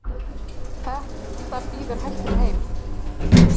Þetta býður hættunni heim.